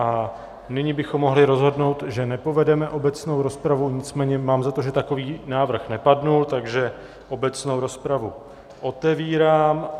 A nyní bychom mohli rozhodnout, že nepovedeme obecnou rozpravu, nicméně mám za to, že takový návrh nepadl, takže obecnou rozpravu otevírám.